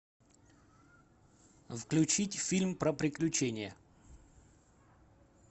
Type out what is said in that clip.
включить фильм про приключения